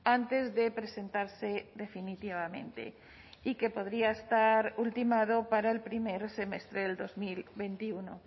antes de presentarse definitivamente y que podría estar ultimado para el primer semestre del dos mil veintiuno